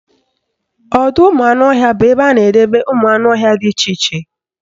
Ọdọụmụanụọhịa bụ ebe a na-edebe ụmụanụọhịa dị iche iche